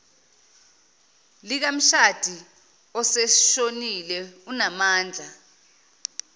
likamshadi oseshonile unamandla